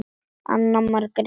Anna Margrét